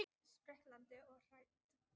Spriklandi og hrætt.